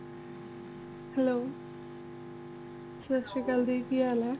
hello ਸਤਿ ਸ਼੍ਰੀ ਅਕਾਲ ਜੀ ਕੀ ਹਾਲ ਹੈ